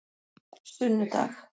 sunnudag